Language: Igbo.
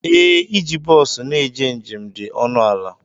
Ee, iji bọsu na-eje njem dị ọnụ ala.